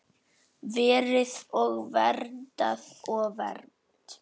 Verið og verndað og vermt.